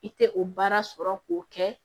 I tɛ o baara sɔrɔ k'o kɛ